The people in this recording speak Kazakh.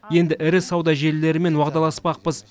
енді ірі сауда желілерімен уағдаласпақпыз